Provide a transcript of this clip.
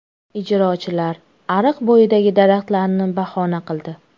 Ijrochilar ariq bo‘yidagi daraxtlarni bahona qildi.